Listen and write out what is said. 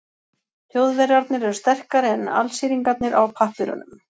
Þjóðverjarnir eru sterkari en Alsíringarnir á pappírunum.